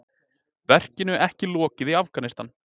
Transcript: Verkinu ekki lokið í Afghanistan